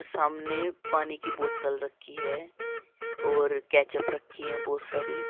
सामने पानी की बोतल रखी है और कैचप रखी है बहोत सारी।